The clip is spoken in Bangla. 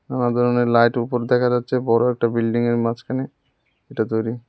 অনেক ধরনের লাইট উপরে দেখা যাচ্ছে বড় একটা বিল্ডিংয়ের মাঝখানে এটা তৈরি।